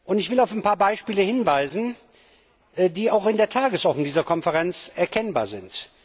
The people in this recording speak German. Ich will auf ein paar Beispiele hinweisen, die auch in der Tagesordnung dieser Konferenz erkennbar sind.